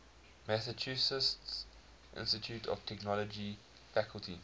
massachusetts institute of technology faculty